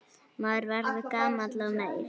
Maður verður gamall og meyr.